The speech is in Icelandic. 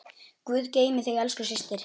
Guð geymi þig elsku systir.